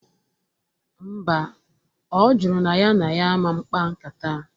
Mba, ọ jụrụ na ya na ya aman kpaa nkata